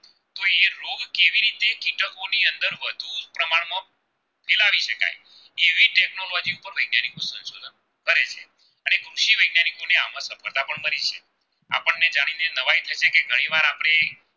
મારી છે આપણે જયારે દવાઈ ઘણી વાર આપણે